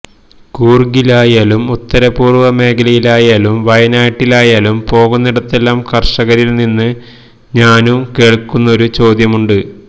കൂര്ഗിലായാലും ഉത്തരപൂര്വ്വ മേഖലയിലായാലും വയനാട്ടിലായാലും പോകുന്നിടത്തെല്ലാം കര്ഷകരില് നിന്നും ഞാന് കേള്ക്കുന്നൊരു ചോദ്യമുണ്ട്